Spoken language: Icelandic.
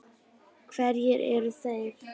Hverjir eru þeir?